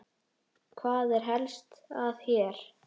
Hvað er helst að hér?